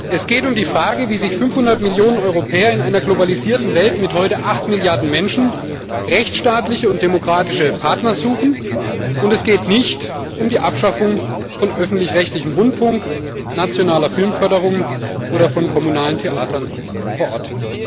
Es geht um die Frage, wie sich 500 Millionen Europäer in einer globalisierten Welt mit heute acht Milliarden Menschen rechtsstaatliche und demokratische Partner suchen, und es geht nicht um die Abschaffung von öffentlich rechtlichem Rundfunk, nationaler Filmförderung oder von kommunalen Theatern vor Ort.